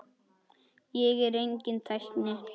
Ég er enginn tækni